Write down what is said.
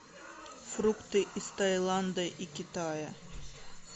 фрукты из тайланда и китая